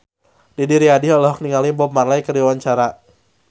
Didi Riyadi olohok ningali Bob Marley keur diwawancara